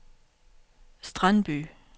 Strandby